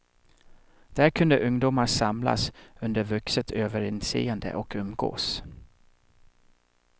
Där kunde ungdomar samlas under vuxet överinseende och umgås.